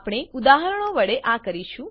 આપણે ઉદાહરણો વડે આ કરીશું